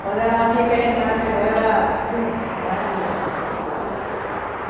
Quando ela via que a gente estava vendo ela, tchum, mergulhava.